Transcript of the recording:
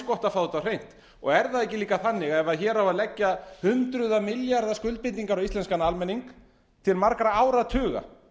gott að fá þetta á hreint er það ekki líka þannig að ef hér á að leggja hundruða milljarða skuldbindingar á íslenskan almenning til margra áratuga